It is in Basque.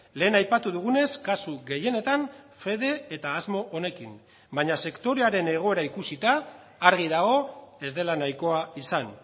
lehen aipatu dugunez kasu gehienetan fede eta asmo honekin baina sektorearen egoera ikusita argi dago ez dela nahikoa izan